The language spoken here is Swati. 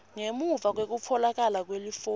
ngemuva kwekutfolakala kwelifomu